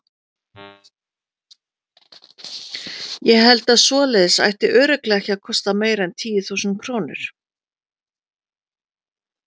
Ég held að svoleiðis ætti örugglega ekki að kosta meira en tíu þúsund krónur.